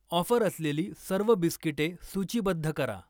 Offer असलेली सर्व बिस्किटे सूचीबद्ध करा.